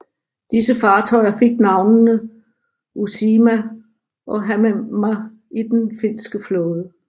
Disse fartøjer fik navnene Uusimaa og Hämeenmaa i den finske flåde